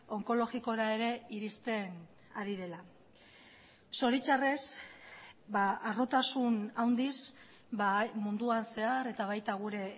onkologikora ere iristen ari dela zoritxarrez harrotasun handiz munduan zehar eta baita gure